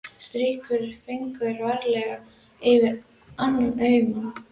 Strýkur fingri varlega yfir auma gagnaugað.